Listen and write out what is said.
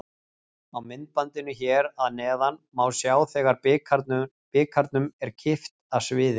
Á myndbandinu hér að neðan má sjá þegar bikarnum er kippt af sviðinu.